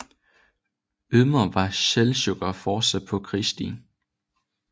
Ydermere var seldsjukkerne fortsat på krigsstien